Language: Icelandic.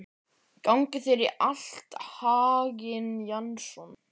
Gangi þér allt í haginn, Jason.